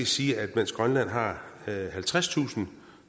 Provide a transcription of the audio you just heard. sige at mens grønland har halvtredstusind